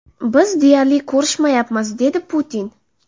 Biz deyarli ko‘rishmayapmiz” dedi Putin.